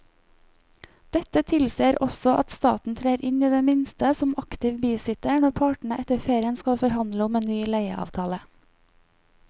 Dette tilsier også at staten trer inn i det minste som aktiv bisitter når partene etter ferien skal forhandle om en ny leieavtale.